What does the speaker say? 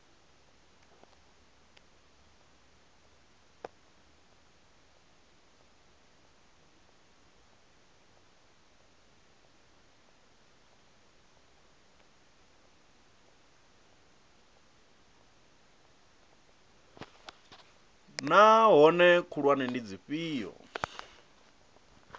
naa hoea khulwane ndi dzifhio